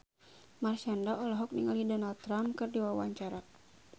Marshanda olohok ningali Donald Trump keur diwawancara